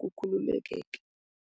kukhululekeke.